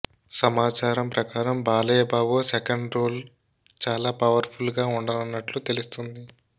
సమాచారం ప్రకారం Balayya Babu second role చాలా పవర్ ఫుల్ గా వుండనున్నట్లు తెలుస్తుంది